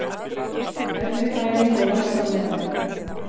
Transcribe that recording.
Erfið fæðing og læst á meðan